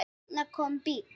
Og þarna kom bíll.